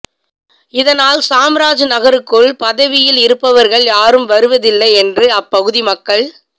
இதனால் சாம்ராஜ் நகருக்குள் பதவியில் இருப்பவர்கள் யாரும் வருவதில்லை என்று அப்பகுதி மக்கள்